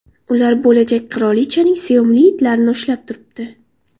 Ular bo‘lajak qirolichaning sevimli itlarini ushlab turibdi.